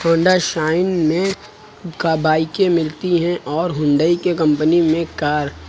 Honda साइन में का बाईकें मिलती हैं और हुंडई के कंपनी में कार --